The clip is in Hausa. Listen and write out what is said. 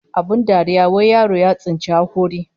Abin dariya wai yaro ya tsinci hakori